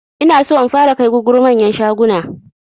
Inaso in fara kai gugguru manyan shaguna